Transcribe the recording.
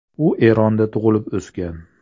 U Eronda tug‘ilib, o‘sgan.